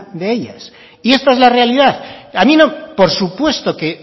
de ellas y esta es la realidad por supuesto que